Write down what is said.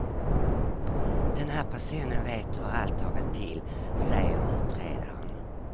Den här personen vet hur allt har gått till, säger utredaren.